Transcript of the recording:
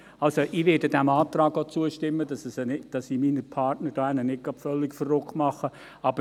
Ich werde dem Antrag auch zustimmen, damit ich meine Partner drüben nicht völlig verärgere.